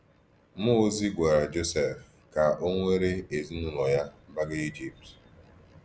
Mụọ ozi gwara Jọsef ka ọ were ezinụlọ ya gbaga Ijipt.